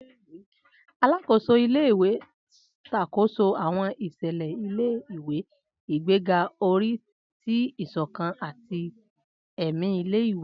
Alakoso ile-iwe n ṣakoso àwọn iṣẹlẹ ile-iwe, igbega ori ti isokan ati ẹmi ile-iwe.